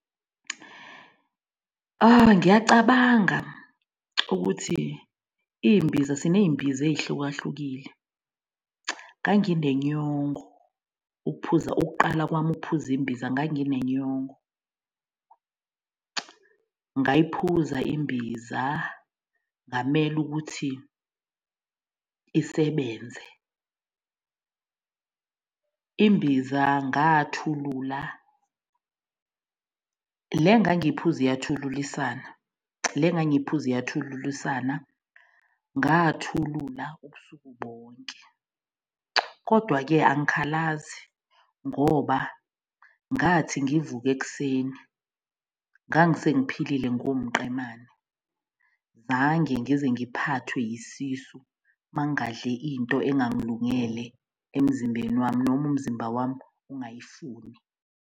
Ngiyacabanga ukuthi imbiza siney'mbiza ey'hluka hlukile. Nganginenyongo ukuphuza ukuqala kwami ukuphuza imbiza, nganginenyongo. Ngayiphuza imbiza ngamele ukuthi isebenze. Imbiza ngathulula, le engangiphuza iyathululisana. Le ngangiphuza iyathululisana. Ngathulula ubusuku bonke, kodwa-ke angikhalazi ngoba ngathi ngivuka ekuseni ngangisengiphilile ngumqemane. Zange ngize ngiphathwe yisisu uma ngadle into engangilungele emzimbeni wami noma umzimba wami ungayifuni.